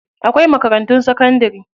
Akwai makarantun sakandari.